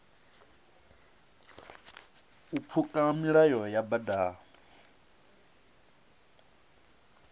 u pfuka milayo ya badani